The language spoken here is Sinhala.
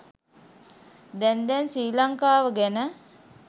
දැන් දැන් ශ්‍රී ලංකාව ගැන